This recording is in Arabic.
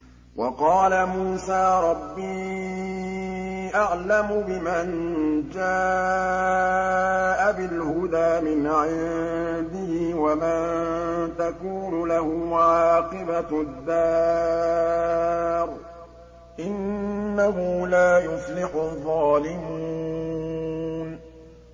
وَقَالَ مُوسَىٰ رَبِّي أَعْلَمُ بِمَن جَاءَ بِالْهُدَىٰ مِنْ عِندِهِ وَمَن تَكُونُ لَهُ عَاقِبَةُ الدَّارِ ۖ إِنَّهُ لَا يُفْلِحُ الظَّالِمُونَ